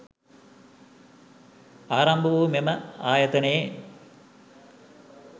ආරම්භ වූ මෙම ආයතනයේ